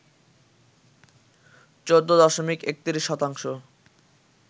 ১৪ দশমিক ৩১ শতাংশ